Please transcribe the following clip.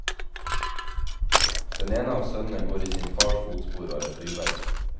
Den ene av sønnene går i sin fars fotspor og er flyver.